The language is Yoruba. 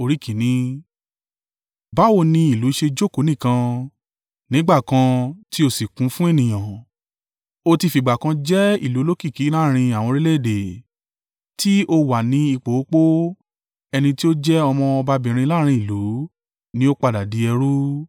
Báwo ni ìlú ṣe jókòó nìkan, nígbà kan tí ó sì kún fún ènìyàn! Ó ti fìgbà kan jẹ́ ìlú olókìkí láàrín àwọn orílẹ̀-èdè, tí ó wà ní ipò opó, ẹni tí ó jẹ́ ọmọ ọbabìnrin láàrín ìlú ni ó padà di ẹrú.